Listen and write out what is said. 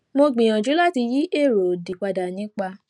mo gbìyànjú láti yí èrò òdì padà nípa